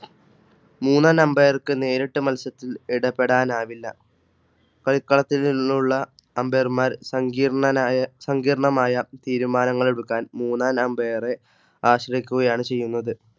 മൂന്നാന Ambire ക് നേരിട്ട് മത്സരത്തിൽ ഇടപെടാൻ ആവില്ല കളിക്കളത്തു നിന്നുള്ള Ambire മാർ സങ്കീർണ്ണ സങ്കീർണമായ തീരുമാനങ്ങളെ ടുക്കാൻ. മൂന്നാനമ്പയറെ ആശ്രയിക്കുകയാണ് ചെയ്യുന്നത്.